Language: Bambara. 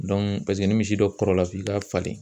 ni misi dɔ kɔrɔla f'i k'a falen